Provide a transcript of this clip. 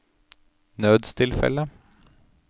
nødstilfelle